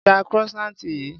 Gba croissant yìí.